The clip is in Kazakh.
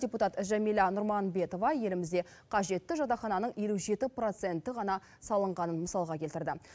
депутат жәмила нұрманбетова елімізде қажетті жатақхананың елу жеті проценті ғана салынғанын мысалға келтірді